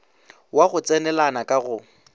wa go tsenelana ka go